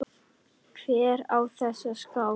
Hver á þessa skál?